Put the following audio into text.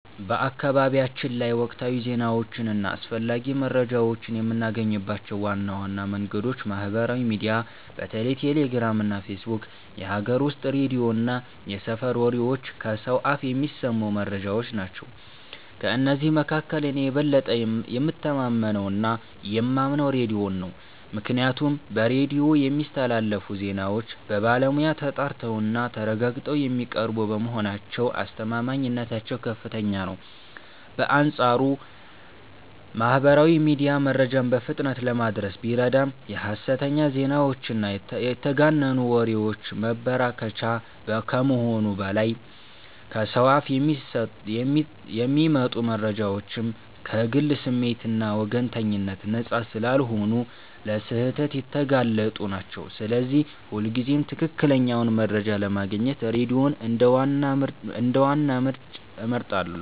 በአካባቢያችን ላይ ወቅታዊ ዜናዎችን እና አስፈላጊ መረጃዎችን የምናገኝባቸው ዋና ዋና መንገዶች ማህበራዊ ሚዲያ (በተለይ ቴሌግራም እና ፌስቡክ)፣ የሀገር ውስጥ ሬዲዮ እና የሰፈር ወሬዎች (ከሰው አፍ የሚሰሙ መረጃዎች) ናቸው። ከእነዚህ መካከል እኔ የበለጠ የምተማመነውና የማምነው ሬዲዮን ነው፤ ምክንያቱም በሬዲዮ የሚስተላለፉ ዜናዎች በባለሙያ ተጣርተውና ተረጋግጠው የሚቀርቡ በመሆናቸው አስተማማኝነታቸው ከፍተኛ ነው። በአንጻሩ ማህበራዊ ሚዲያ መረጃን በፍጥነት ለማድረስ ቢረዳም የሐሰተኛ ዜናዎችና የተጋነኑ ወሬዎች መበራከቻ ከመሆኑም በላይ፣ ከሰው አፍ የሚመጡ መረጃዎችም ከግል ስሜትና ወገንተኝነት ነፃ ስላልሆኑ ለስህተት የተጋለጡ ናቸው፤ ስለዚህ ሁልጊዜም ትክክለኛውን መረጃ ለማግኘት ሬዲዮን እንደ ዋና ምንጭ እመርጣለሁ።